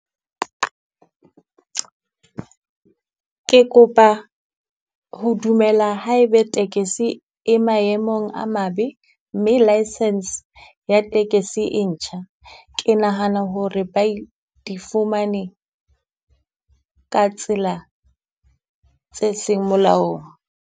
Ke kopa ho dumela ha e be tekesi e maemong a mabe, mme license ya tekesi e ntjha. Ke nahana hore ba e di fumane ka tsela tse seng molaong.